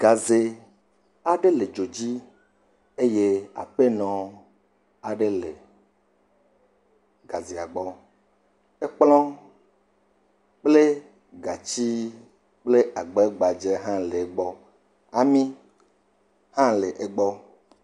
Gazɛ aɖe le dzo dzi eye aƒe nɔ gazɛa gbɔ. Ekplɔ kple gatsi kple agbɛ gbadze hã le egbɔ. Ami hã le egbɔ.